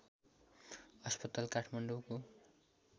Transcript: अस्पताल काठमाडौँको